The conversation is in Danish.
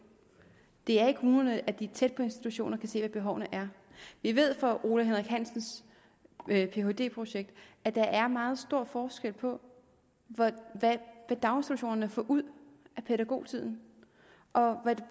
det er i kommunerne de er tæt på institutionerne se hvad behovene er vi ved fra ole henrik hansens phd projekt at der er meget stor forskel på hvad daginstitutionerne får ud af pædagogtiden